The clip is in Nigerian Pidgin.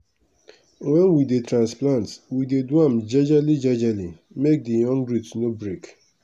wen we dey transplant we dey do am jejely jejely make the young root no break.